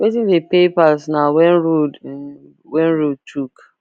wetin dey pay pass na when road when road choke